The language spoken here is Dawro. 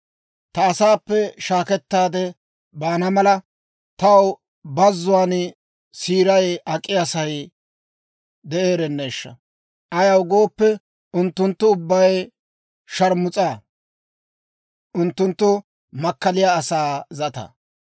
ta asaappe shaakkettaade baana mala, taw bazzuwaan siiray ak'iyaa sa'ay de'eerenneeshsha! Ayaw gooppe, unttunttu ubbay sharmus'a; unttunttu makkaliyaa asaa zata.